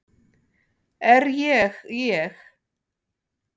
Er ég ég?